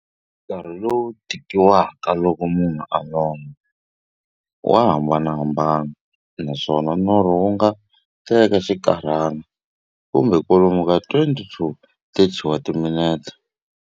Nkarhi lowu tekiwaka loko munhu a lorha, wa hambanahambana, naswona norho wu nga teka xinkarhana, kumbe kwalomu ka 20-30 wa timinete.